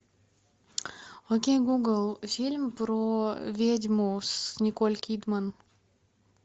окей гугл фильм про ведьму с николь кидман